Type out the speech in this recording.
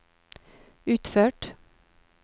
utført